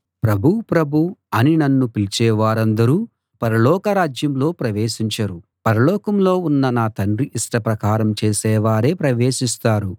ప్రభూ ప్రభూ అని నన్ను పిలిచేవారందరూ పరలోకరాజ్యంలో ప్రవేశించరు పరలోకంలో ఉన్న నా తండ్రి ఇష్ట ప్రకారం చేసే వారే ప్రవేశిస్తారు